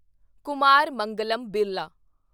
Kumar Mangalam Birla